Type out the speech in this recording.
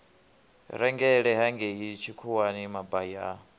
rengele hangei tshikhuwani mabai a